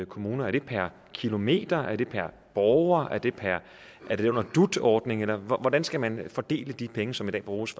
kommuner er det per kilometer er det per borger er det under dut ordningen eller hvordan skal man fordele de penge som i dag bruges